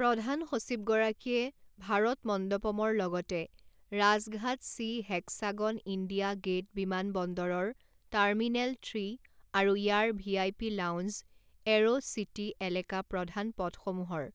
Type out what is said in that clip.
প্ৰধান সচিবগৰাকীয়ে ভাৰত মণ্ডপমৰ লগতে Rajghat C hexagon India Gate বিমানবন্দৰৰ টাৰ্মিনেল থ্ৰী আৰু ইয়াৰ ভিআইপি লাউঞ্জ এৰ' চিটি এলেকা প্ৰধান পথসমূহৰ